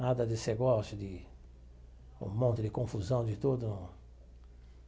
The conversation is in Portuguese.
Nada desse negócio de um monte de confusão de tudo.